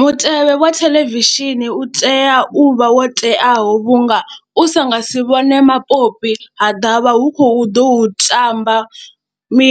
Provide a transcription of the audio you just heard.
Mutevhe wa theḽevishini u tea u vha wo teaho vhunga u sa nga si vhone mapopi ha ḓa vha hu khou ḓo tamba mi,